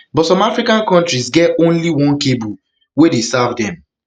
but some african kontris get only only one cable wey dey serve dem